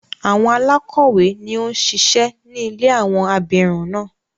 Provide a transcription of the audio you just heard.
Àwon alákọ̀wé ni ó ń ṣíṣe ní ilé àwọn abirùn náà.